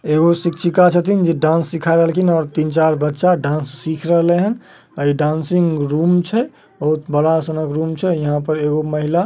एगो शिक्षिका छथीन जे डांस सीखा रहलखीन और तीन-चार बच्चा डांस सिख रहल हेन। इ डांसिंग रूम छै। बहुत बड़ा सनक रूम छै और यहां पर महिला --